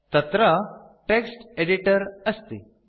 तत्र text editor अस्ति